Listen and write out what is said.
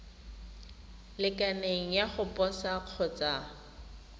lekaneng ya go posa kgotsa